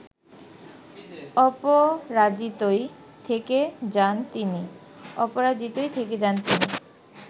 অপরাজিতই থেকে যান তিনি